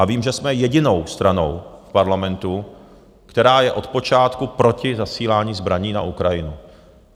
A vím, že jsme jedinou stranou v Parlamentu, která je od počátku proti zasílání zbraní na Ukrajinu.